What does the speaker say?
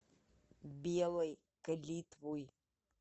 белой калитвой